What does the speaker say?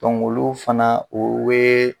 olu fana o we